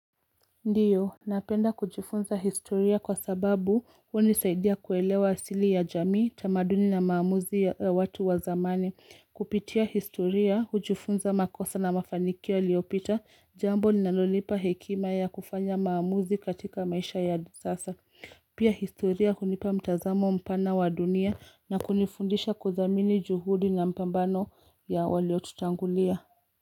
Ndiyo, napenda kujifunza historia kwa sababu hunisaidia kuelewa asili ya jamii, tamaduni na maamuzi ya watu wa zamani. Kupitia historia, hujifunza makosa na mafanikio yaliyopita, jambo linalonipa hekima ya kufanya maamuzi katika maisha ya sasa. Pia historia hunipa mtazamo mpana wa dunia na kunifundisha kuthamini juhudi na mapambano ya walio tutangulia.